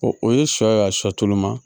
O o ye sɔ ye a sɔ tulu ma